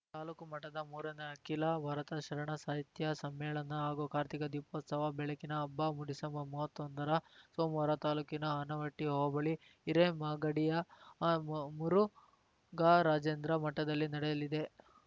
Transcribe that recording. ತಾಲೂಕು ಮಟ್ಟದ ಮೂರನೇ ಅಖಿಲ ಭಾರತ ಶರಣ ಸಾಹಿತ್ಯ ಸಮ್ಮೇಳನ ಹಾಗೂ ಕಾರ್ತಿಕ ದೀಪೋತ್ಸವ ಬೆಳಕಿನ ಹಬ್ಬ ಡಿಸೆಂಬರ್ಮೂವತ್ತೊಂದರ ಸೋಮವಾರ ತಾಲೂಕಿನ ಆನವಟ್ಟಿಹೋಬಳಿ ಹಿರೇಮಾಗಡಿಯ ಮು ಮುರುಘರಾಜೇಂದ್ರ ಮಠದಲ್ಲಿ ನಡೆಯಲಿದೆ